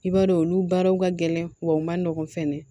I b'a dɔn olu baaraw ka gɛlɛn wa u ma nɔgɔn fɛnɛ